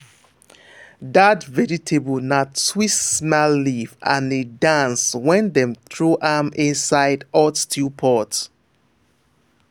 that vegetable na twist smile leaf and e dance when dem throw am inside hot stew pot.